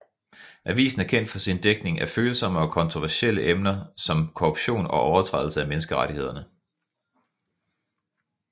Avisen er kendt for sin dækning af følsomme og kontroversielle emner som korruption og overtrædelse af menneskerettighederne